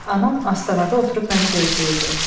Anam astanada oturub məni gözləyirdi.